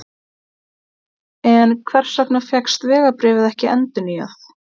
En hvers vegna fékkst vegabréfið ekki endurnýjað?